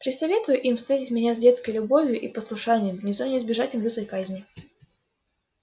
присоветуй им встретить меня с детской любовию и послушанием не то не избежать им лютой казни